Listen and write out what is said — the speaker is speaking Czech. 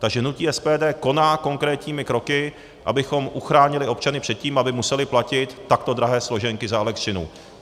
Takže hnutí SPD koná konkrétními kroky, abychom uchránili občany před tím, aby museli platit takto drahé složenky za elektřinu.